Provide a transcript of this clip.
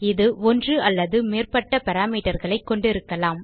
இது ஒன்று அல்லது மேற்பட்ட parameterகளை கொண்டிருக்கலாம்